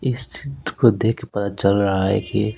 इस चित्र को देख के पता चल रहा है कि--